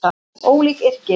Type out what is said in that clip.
Ólík yrki